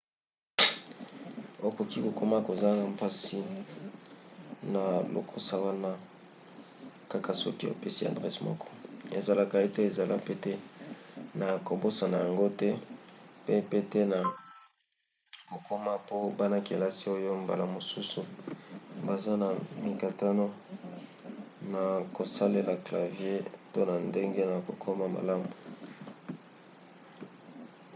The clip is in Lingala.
okoki kokoma kozanga mpasi na lokasa wana kaka soki opesi adrese moko esalaka ete ezala pete na kobosana yango te pe pete na kokoma po bana-kelasi oyo mbala mosusu baza na mikakatano na kosalela clavier to na ndenge ya kokoma malamu